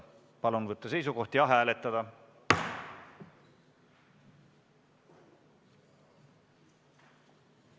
Palun võtta seisukoht ja hääletada!